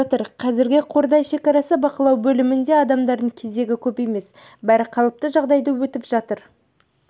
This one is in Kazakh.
жатыр қазір қордай шекара бақылау бөлімінде адамдардың кезегі көп емес бәрі қалыпты жағдайда өтіп жатыр